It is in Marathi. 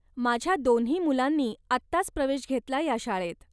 माझ्या दोन्ही मुलांनी आत्ताच प्रवेश घेतलाय या शाळेत?